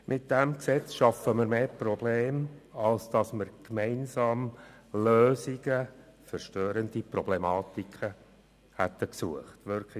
Mit diesem Gesetz schaffen wir mehr Probleme, als wenn wir gemeinsam Lösungen für die störenden Problematiken gesucht hätten.